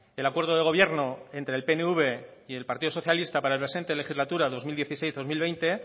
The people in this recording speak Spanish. el acuerdo de gobierno entre el pnv y el partido socialista para la presente legislatura dos mil dieciséis dos mil veinte